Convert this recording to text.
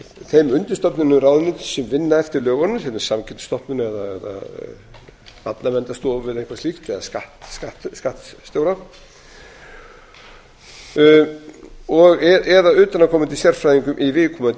þeim undirstofnunum ráðuneytis sem vinna eftir lögunum sem er samkeppnisstofnun eða barnaverndarstofu eða eitthvað slíkt eða skattstjóra eða utanaðkomandi sérfræðingum í viðkomandi